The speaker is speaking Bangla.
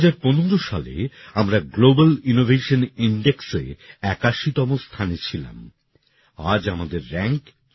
২০১৫ সালে আমরা গ্লোবাল ইনোভেশন ইনডেক্সে ৮১তম স্থানে ছিলাম আজ আমাদের র্যাঙ্ক ৪০